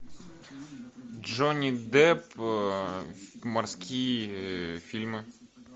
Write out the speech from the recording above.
джонни депп морские фильмы